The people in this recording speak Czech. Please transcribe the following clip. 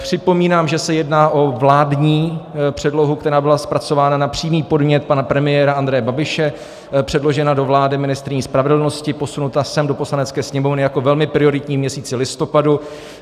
Připomínám, že se jedná o vládní předlohu, která byla zpracována na přímý podnět pana premiéra Andreje Babiše, předložena do vlády ministryní spravedlnosti, posunuta sem do Poslanecké sněmovny jako velmi prioritní v měsíci listopadu.